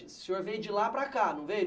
O senhor veio de lá para cá, não veio?